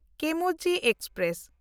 ᱠᱮᱢᱢᱚᱡᱤ express